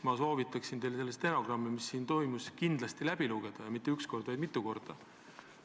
Ma soovitan teil stenogrammi selle kohta, mis siin toimus, kindlasti läbi lugeda, ja mitte üks kord, vaid mitu korda.